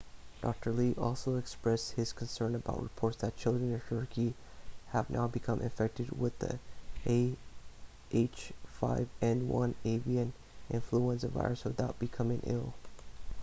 dr. lee also expressed his concern about reports that children in turkey have now become infected with the ah5n1 avian influenza virus without becoming ill